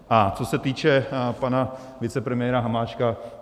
A co se týče pana vicepremiéra Hamáčka.